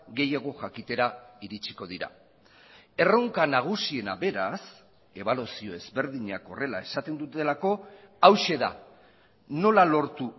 gehiago jakitera iritsiko dira erronka nagusiena beraz ebaluazio ezberdinak horrela esaten dutelako hauxe da nola lortu